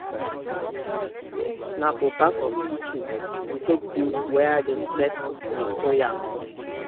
na for back of kitchen we take build where dem take dey store yam